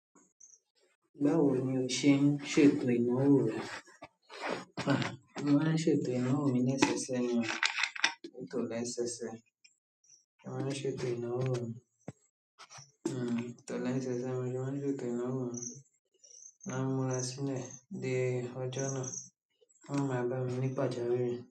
Báwo ni o ṣe ń ṣètò ìná wó ò rẹ? A, mo máa ń ṣètò ìná wó ò mi lẹ́sẹsẹ ni o, létò lẹ́sẹsẹ. Mo máa ń ṣètò ìná wó ò mi, ètò lẹ́sẹsẹ, ni mo ṣe ma ń ṣètò ìná wó ò mi, n má ń múra sílẹ̀ de ọjọ́ náà, kó má ma lọ́ mi ní pàjáwìrì.